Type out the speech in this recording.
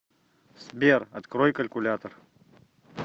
сбер открой калькулятор